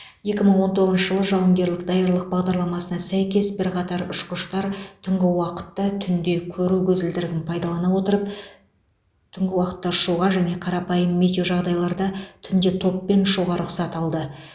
екі мың он тоғызыншы жылы жауынгерлік даярлық бағдарламасына сәйкес бірқатар ұшқыштар түнгі уақытта түнде көру көзілдірігін пайдалана отырып түнгі уақытта ұшуға және қарапайым метеожағдайларда түнде топпен ұшуға рұқсат алды